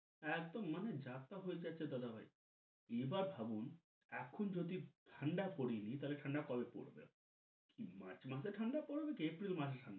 একদম মানে যা তা হয়ে যাচ্ছে দাদা ভাই। এবার ভাবুন এখন যদি ঠান্ডা পরেনি তাহলে ঠান্ডা কবে পরবে? March মাসে ঠান্ডা পরবে কি April মাসে ঠান্ডা?